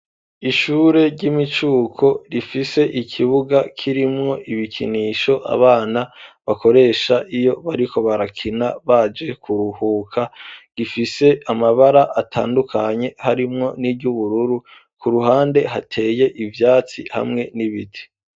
Ishure ry'imicuko rifise ikibuga kirimwo ibikinisho abana bakoresha iyo bariko barakina baje kuruhuka gifise amabara atandukanye harimwo n'iryubururu ku ruhande hateye ivyatsi hamwe n'ibiti.